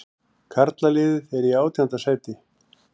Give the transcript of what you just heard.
Karlaliðið er í átjánda sæti